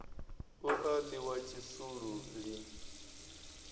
u a ḽiwa tshisulu lini